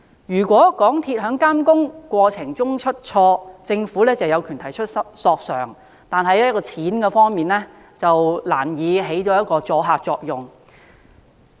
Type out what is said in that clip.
如果港鐵公司在監工過程中出錯，政府有權提出索償，但賠償上限難以收阻嚇作用。